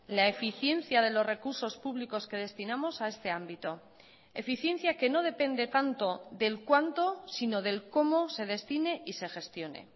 la eficiencia de los recursos públicos que destinamos a este ámbito eficiencia que no depende tanto del cuánto sino del cómo se destine y se gestione